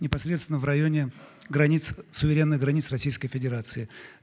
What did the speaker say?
непосредственно в районе границ суверенных границ российской федерации